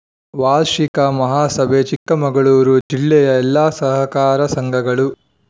ವಾರ್ಷಿಕ ಮಹಾಸಭೆ ಚಿಕ್ಕಮಗಳೂರು ಜಿಲ್ಲೆಯ ಎಲ್ಲಾ ಸಹಕಾರ ಸಂಘಗಳು